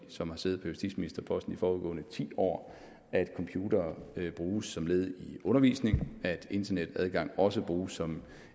som har siddet på justitsministerposten i de foregående ti år at computere bruges som led i undervisningen at internetadgang også bruges som